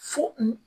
Fo